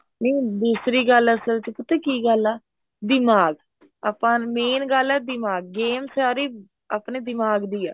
ਨੀ ਦੂਸਰੀ ਗੱਲ ਅਸਲ ਚ ਪਤਾ ਕੀ ਗੱਲ ਆ ਦਿਮਾਗ ਆਪਾਂ main ਗੱਲ ਏ ਦਿਮਾਗ game ਸਾਰੀ ਆਪਣੇ ਦਿਮਾਗ ਦੀ ਏ